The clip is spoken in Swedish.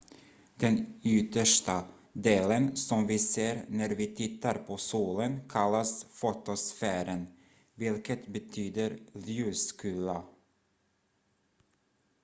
"den yttersta delen som vi ser när vi tittar på solen kallas fotosfären vilket betyder "ljuskula"".